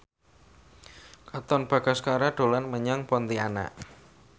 Katon Bagaskara dolan menyang Pontianak